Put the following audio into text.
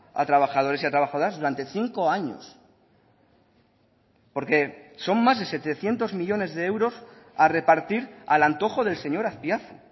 a trabajadores y a trabajadoras durante cinco años porque son más de setecientos millónes de euros a repartir al antojo del señor azpiazu